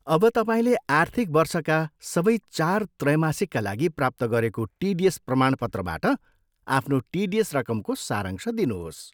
अब तपाईँले आर्थिक वर्षका सबै चार त्रैमासिकका लागि प्राप्त गरेको टिडिएस प्रमाणपत्रबाट आफ्नो टिडिएस रकमको सारांश दिनुहोस्।